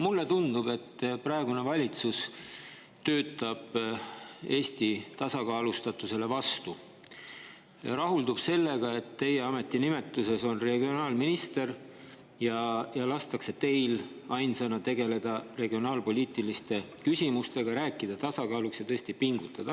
Mulle tundub, et praegune valitsus töötab Eesti tasakaalustatusele vastu ja rahuldub sellega, et teie ametinimetuses on ka "regionaalminister", ja lastakse teil ainsana tegeleda regionaalpoliitiliste küsimustega, rääkida tasakaalust ja tõesti pingutada.